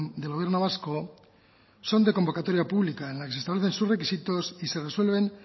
del gobierno vasco son de convocatoria pública en las de sus requisitos y se resuelven